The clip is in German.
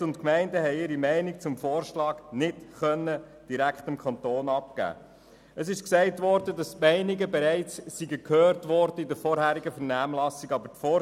Die Städte und Gemeinden konnten ihre Meinung dem Kanton nicht direkt kundtun, weil gesagt wurde, die Meinungen seien bereits in den vorherigen Vernehmlassungen gehört worden.